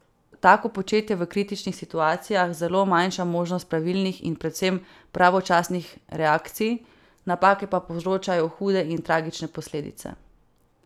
Tako početje v kritičnih situacijah zelo manjša možnost pravilnih in predvsem pravočasnih reakcij, napake pa povzročajo hude in tragične posledice.